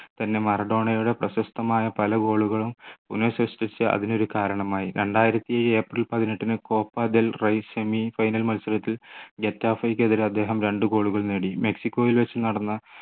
തന്നെ മറഡോണയുടെ പ്രശസ്തമായ പല goal കുളം പുനർസൃഷ്ടിച്ചത് അതിനൊരു കാരണമായി രണ്ടായിരത്തി ഏപ്രിൽ പതിനെട്ടിന് copa del rey semi final മത്സരത്തിൽ ഗെറ്റാഫെയ്‌ക്കെതിരെ അദ്ദേഹം രണ്ടു goal കൾ നേടി മെക്സിക്കോയിൽ വെച്ചു നടന്ന